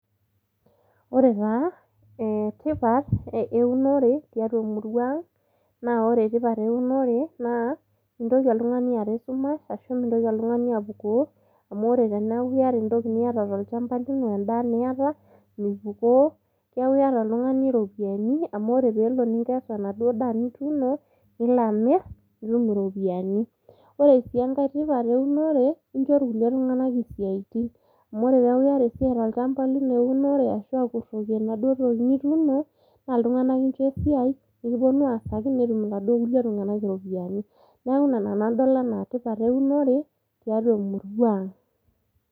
Ore taata, eh tipat eunore, tiatua emurua ang',na ore tipat eunore naa, mintoki oltung'ani aata esumash, ashu mintoki oltung'ani apukoo, amu ore eneeku yata entoki niata tolchamba lino, endaa niata, mipukoo. Neku yata oltung'ani ropiyaiani, amu ore pelo ningesu enaduo daa nituuno, nila amir, nitum iropiyiani. Ore si enkae tipat eunore, incho irkulie tung'anak isiaitin. Amu ore peku iyata esiai tolchamba lino eunore, ashu akurroki enaduo toki nituuno, na iltung'anak incho esiai, pekiponu aasaki, netum iladuo kulie tung'anak iropiyiani. Neeku ina nanu adol enaa tipat eunore, tiatua emurua ang'.